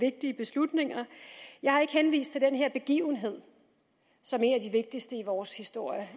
vigtige beslutninger jeg har ikke henvist til den her begivenhed som en af de vigtigste i vores historie